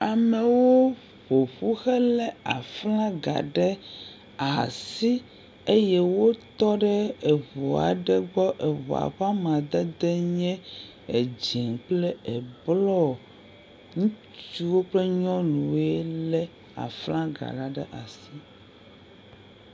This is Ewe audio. Amewo ƒo ƒu helé aflaga ɖe aasi. Eye wotɔ ɖe eŋu aɖe gbɔ. Eŋua ƒe amadedee bye edzɛ̃ kple eblɔɔ. Ŋutsuwo kple nyɔnuwoe lé aflagala ɖe asi.